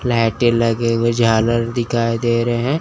लाइटे लगे हुए झालर दिखाई दे रहे--